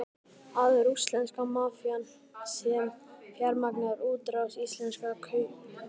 Er það rússneska mafían sem fjármagnar útrás íslenskra kaupahéðna?